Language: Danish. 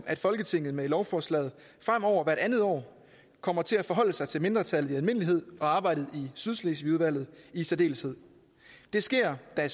at folketinget med lovforslaget fremover hvert andet år kommer til at forholde sig til mindretallet i almindelighed og arbejdet i sydslesvigudvalget i særdeleshed det sker da